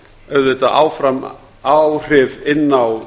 auðvitað áfram áhrif inn á